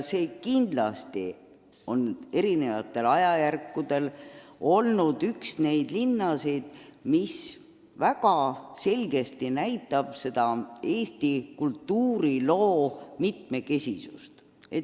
Eri ajajärkudel on see ikka olnud üks neid linnasid, mis väga selgesti näitab Eesti kultuuriloo mitmekesisust.